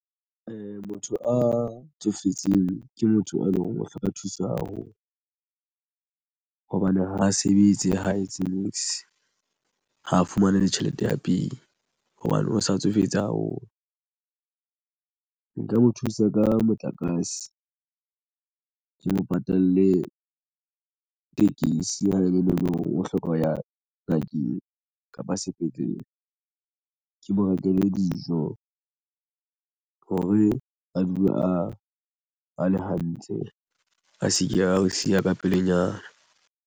Motho a tsofetseng ke motho a eleng hore o hloka thuso haholo hobane ha a sebetse ha etse niks ha a fumane le tjhelete ya pay hobane o sa tsofetse haholo. Nka mo thusa ka motlakase ke mo patale tekesi ha e be ne neng o hloka ho ya ngakeng kapa sepetlele. Ke mo rekele dijo hore a dule a le hantle a se ke a o siya ka pelenyana.